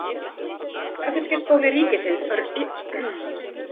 Garðyrkjuskóli ríkisins á Reykjum í Ölfusi stofnaður.